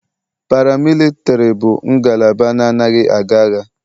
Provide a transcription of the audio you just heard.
Paramilitari bụ ngalaba na-anaghị aga agha.